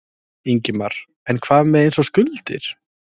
Ingimar: En hvað með eins og skuldir?